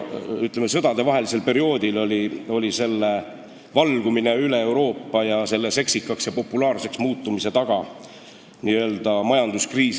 Ütleme, sõdadevahelisel perioodil põhjustas selle sõna valgumise üle Euroopa, selle seksikaks ja populaarseks muutumise suur majanduskriis.